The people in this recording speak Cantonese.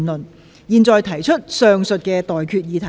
我現在向各位提出上述待決議題。